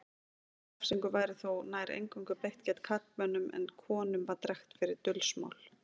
Þessari refsingu var þó nær eingöngu beitt gegn karlmönnum en konum var drekkt fyrir dulsmál.